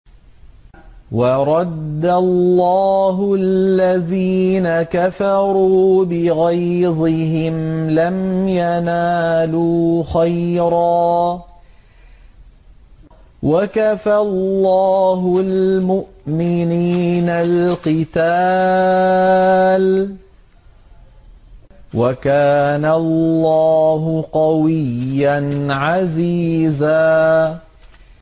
وَرَدَّ اللَّهُ الَّذِينَ كَفَرُوا بِغَيْظِهِمْ لَمْ يَنَالُوا خَيْرًا ۚ وَكَفَى اللَّهُ الْمُؤْمِنِينَ الْقِتَالَ ۚ وَكَانَ اللَّهُ قَوِيًّا عَزِيزًا